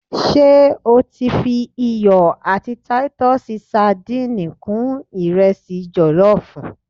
se o ti fi iyo ati Titus sadìnìnnì kun iresi jollof?